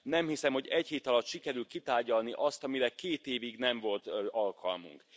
Nem hiszem, hogy egy hét alatt sikerül kitárgyalni azt, amire két évig nem volt alkalmunk.